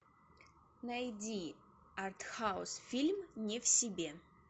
найди артхаус фильм не в себе